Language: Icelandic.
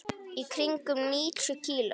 Í kringum níutíu kíló.